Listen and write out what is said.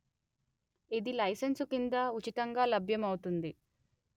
ఇది లైసెన్సు కింద ఉచితంగా లభ్యమౌతుంది